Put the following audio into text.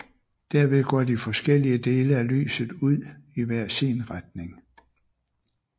Derved går de forskellige dele af lyset ud i hver sin retning